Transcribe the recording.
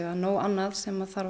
er nóg annað sem þarf